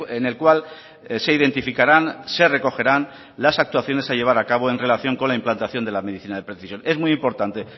en el cual se identificarán se recogerán las actuaciones a llevar a cabo en relación con la implantación de la medicina de precisión es muy importante